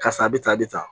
Karisa a bɛ tan a bɛ tan